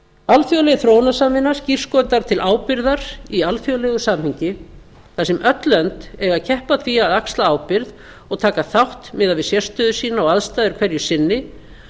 alþjóðleg þróunarsamvinna skírskotar til ábyrgðar í alþjóðlegu samhengi þar sem öll lönd eiga að keppa að því að axla ábyrgð og taka þátt miðað við sérstöðu sína og aðstæður hverju sinni